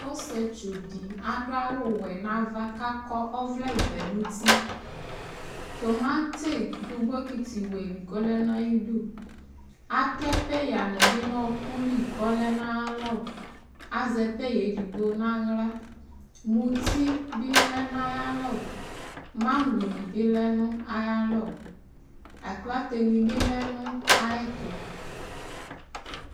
osietsu di aɖʋ awuwɛ nava Ku lakɔ ɔvlɛvɛ nʋtiTʋmati ɖʋ bokiti wɛli kolɛnu aiɖʋatɛ payani bi nu ɔkuli kɔlɛnʋ ayalɔazɛ paya edigbo nʋ awɣla, muti bi lɛnuayalɔ, magɔni bi lɛnuayalɔ, aklateni bi lɛ nu ayɛtʋ